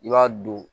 I b'a don